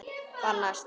Bara mæta.